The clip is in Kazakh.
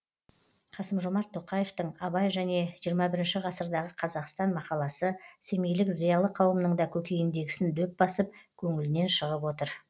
қасым жомарт тоқаевтың абай және жиырма бірінші ғасырдағы қазақстан мақаласы семейлік зиялы қауымның да көкейіндегісін дөп басып көңілінен шығып отыр